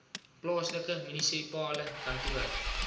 plaaslike munisipale kantoor